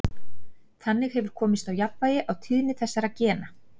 þannig hefur komist á jafnvægi á tíðni þessara gena